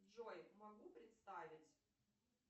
джой могу представить